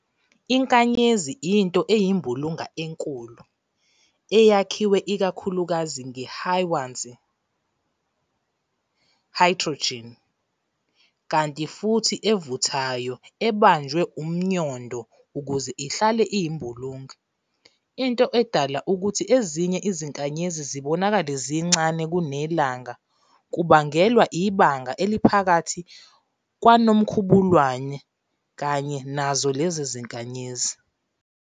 INkanyezi into eyimbulunga enkulu, eyakhiwe ikakhulukazi ngeHwanzi, Hydrogen, kanti futhi evuthayo ebanjwe umNyondo ukuze ihlale iyimbulunga. Into edala ukuthi ezinye izinkanyezi zibonakale zincane kuneLanga kubangelwa ibanga elimaphakathi kwaNomkhubulwane kanye nazo lezo zinkanyezi.